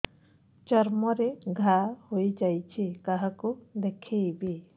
ଚର୍ମ ରେ ଘା ହୋଇଯାଇଛି କାହାକୁ ଦେଖେଇବି